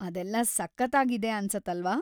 ಅದೆಲ್ಲ ಸಖತ್ತಾಗಿದೆ ಅನ್ಸತ್ತಲ್ವಾ?